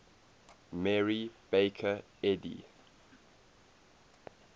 mary baker eddy